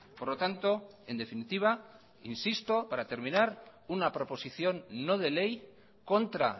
por lo tanto en definitiva insisto para terminar una proposición no de ley contra